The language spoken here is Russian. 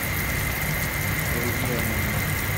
вруби аниме